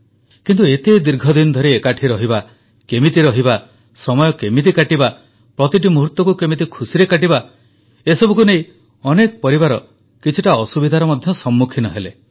କିନ୍ତୁ ଏତେ ଦୀର୍ଘଦିନ ଧରି ଏକାଠି ରହିବା କେମିତି ରହିବା ସମୟ କେମିତି କାଟିବା ପ୍ରତିଟି ମୁହୂର୍ତ୍ତକୁ କେମିତି ଖୁସିରେ କାଟିବା ଏ ସବୁକୁ ନେଇ ଅନେକ ପରିବାର କିଛିଟା ଅସୁବିଧାର ମଧ୍ୟ ସମ୍ମୁଖୀନ ହେଲେ